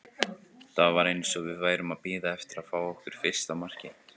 Það var eins og við værum að bíða eftir að fá á okkur fyrsta markið.